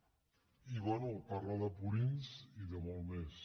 i bé parla de purins i de molt més